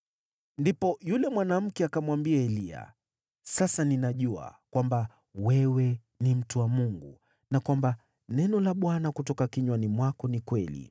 Ndipo yule mwanamke akamwambia Eliya, “Sasa ninajua kwamba wewe ni mtu wa Mungu, na kwamba neno la Bwana kutoka kinywani mwako ni kweli.”